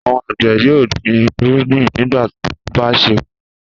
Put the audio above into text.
Àwọn àgbẹ̀ yóò gbin ìrúgbìn nígbà tó bá ṣe kókó.